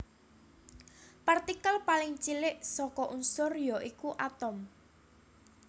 Partikel paling cilik saka unsur ya iku atom